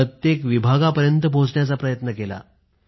प्रत्येक विभागापर्यंत पोहचण्याचा प्रयत्न केला